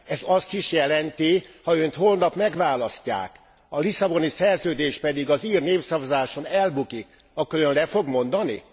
Ez azt is jelenti, ha Önt holnap megválasztják, a Lisszaboni Szerződés pedig az ír népszavazáson elbukik, akkor Ön le fog mondani?